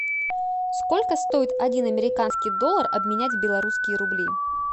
сколько стоит один американский доллар обменять в белорусские рубли